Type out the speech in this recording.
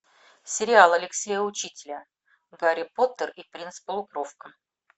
сериал алексея учителя гарри поттер и принц полукровка